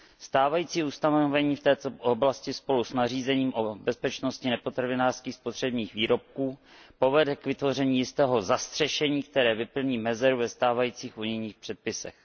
Stávající ustanovení vtéto oblasti spolu snařízením o bezpečnosti nepotravinářských spotřebních výrobků povedou kvytvoření jistého zastřešení, které vyplní mezeru ve stávajících unijních předpisech.